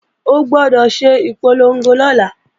O gbọdọ̀ ṣe ìpolongo lọ́la!